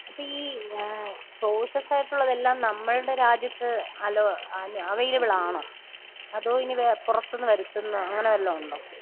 അപ്പൊ ഈ ഏഹ് സോഴ്സസായിട്ടുള്ളതെല്ലാം നമ്മളുടെ രാജ്യത്ത് അലോ അവൈലബിളാണോ? അതോ ഇനി പുറത്തിന്ന് വരുത്തുന്ന അങ്ങനെ വല്ലതുമുണ്ടോ?